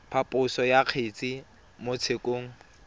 phaposo ya kgetse mo tshekong